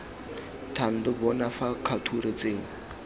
thando bona fa kgature tseo